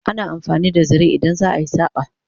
ana amfani da zare idan za'a yi saƙa